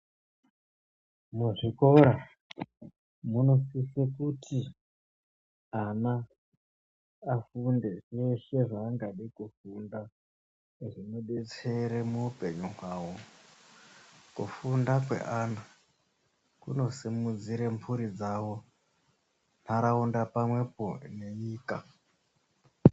Muzvikora munosiswe kuti ana afunde zveshe zvaangade kufunda zvinodetsere muupenyu hwawo. Kufunda kweana kunosimudzire mburi dzawo, nharaunda pamwepo nenyika.